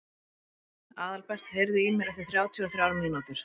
Aðalbert, heyrðu í mér eftir þrjátíu og þrjár mínútur.